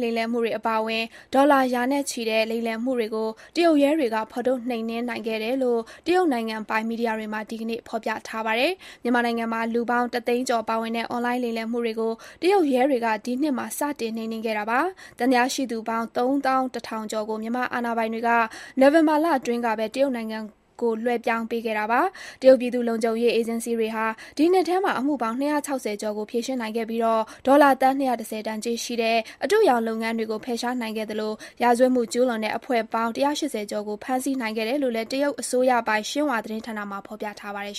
လိမ်လည်မှုတွေ အပါအဝင် ဒေါ်လာသန်း ရာနဲ့ချီတဲ့ လိမ်လည်မှုတွေကို တရုတ်ရဲတွေက ဖော်ထုတ် နှိမ်နင်းနိုင်ခဲ့တယ်လို့ တရုတ်နိုင်ငံပိုင် မီဒီယာတွေမှာ ဒီနေ့ ဖော်ပြထားပါတယ်။ မြန်မာနိုင်ငံမှာ လူပေါင်း တသိန်းကျော်ပါဝင်တဲ့ အွန်လိုင်း လိမ်လည်မှုတွေကို တရုတ်ရဲတွေက ဒီနှစ်မှာ စတင်နှိမ်နင်းခဲ့တာပါ။ သံသယရှိသူပေါင်း ၃၁,၀၀၀ ကျော်ကို မြန်မာအာဏာပိုင်တွေက နိုဝင်ဘာလတွင်းကပဲ တရုတ်နိုင်ငံသို့ လွှဲပြောင်းပေးခဲ့ပါတယ်။ တရုတ်ပြည်သူ့လုံခြုံရေး အေဂျင်စီတွေဟာ ဒီနှစ်ထဲမှာ အမှုပေါင်း ၂၆၀ ကျော်ကို ဖြေရှင်းနိုင်ခဲ့ပြီး၊ ဒေါ်လာ သန်း ၂၁၀ တန် ကြေးရှိတဲ့ အတုအယောင် လုပ်ငန်းတွေကို ဖယ်ရှားနိုင်ခဲ့သလို၊ ရာဇဝတ်မှုကျူးလွန်တဲ့ အဖွဲ့ပေါင်း ၁၈၀ ကျော်ကို ဖမ်းဆီးနိုင်ခဲ့တယ်လို့လည်း တရုတ်အစိုးရပိုင် Xinhua သတင်းဌာနမှာ ဖော်ပြထားပါတယ်